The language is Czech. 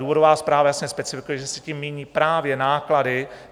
Důvodová zpráva jasně specifikuje, že se tím míní právě náklady.